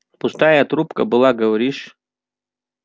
пустая труба была говоришь